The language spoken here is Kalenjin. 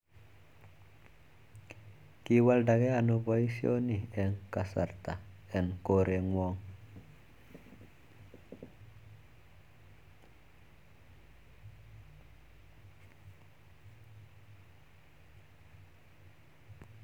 Kiwalda kee anoo paishoni eng kasarta eng koret ngwa